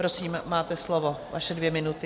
Prosím, máte slovo, vaše dvě minuty.